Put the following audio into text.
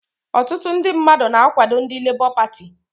Ọtụtụ ndị mmadụ na-akwado ndị Lebọ Pati